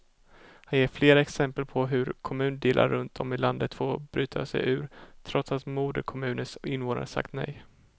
Han ger flera exempel på hur kommundelar runt om i landet fått bryta sig ur, trots att moderkommunens invånare sagt nej.